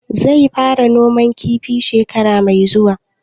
Zai fara noman kifi shekara mai zuwa?